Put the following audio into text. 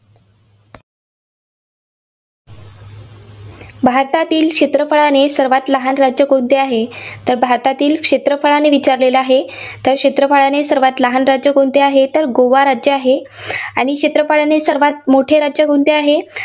भारतातील क्षेत्रफळाने सर्वांत लहान राज्य कोणते आहे? तर भारतातील क्षेत्रफळाने विचारलेले आहे, तर क्षेत्रफळाने सर्वांत लहान राज्य कोणते आहे, तर गोवा राज्य आहे. आणि क्षेत्रफळाने सर्वांत मोठे राज्य कोणते आहे?